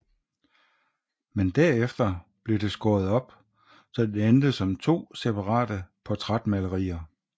Men derefter blev det skåret op så det endte som to separate portrætmalerier